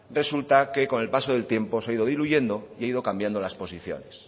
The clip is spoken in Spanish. resulta que con el paso del tiempo se ha ido diluyendo y han ido cambiando las posiciones